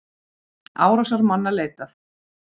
Árásarmanna leitað